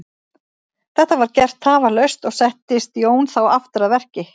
Þetta var gert tafarlaust og settist Jón þá aftur að verki.